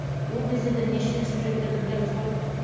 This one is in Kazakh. ол кезде де неше сюжеттерді білеміз ғой